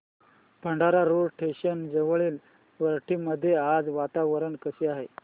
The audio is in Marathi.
भंडारा रोड स्टेशन जवळील वरठी मध्ये आज वातावरण कसे आहे